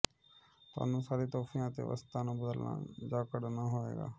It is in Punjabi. ਤੁਹਾਨੂੰ ਸਾਰੇ ਤੋਹਫ਼ਿਆਂ ਅਤੇ ਵਸਤਾਂ ਨੂੰ ਬਦਲਣਾ ਜਾਂ ਕੱਢਣਾ ਹੋਵੇਗਾ